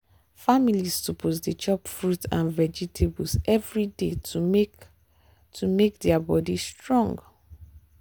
families suppose dey chop fruit and vegetables every day to make to make their body strong.